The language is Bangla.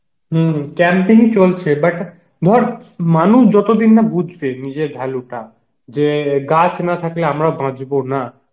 হম camping ই চলছে but ধর মানুষ যতদিন না বুঝবে নিজের value টা, যে গাছ না থাকলে আমরা বাঁচবো না,